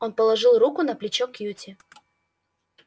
он положил руку на плечо кьюти